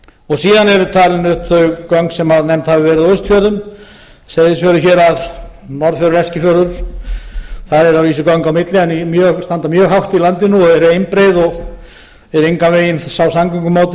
eru talin upp þau göng sem nefnd hafa verið á austfjörðum seyðisfjörður hérað norðfjörður eskifjörður þar eru að vísu göng á milli en standa mjög hátt í landinu og eru einbreið og eru engan veginn sá samgöngumáti